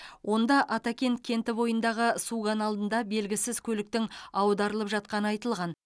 онда атакент кенті бойындағы су каналында белгісіз көліктің аударылып жатқаны айтылған